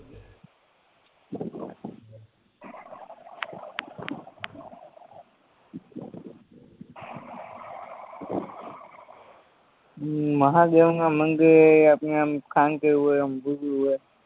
મહાદેવના મંદિરે આપણને આમ શાંતિ હોય એમ